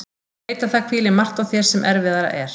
Ég veit að það hvílir margt á þér sem erfiðara er.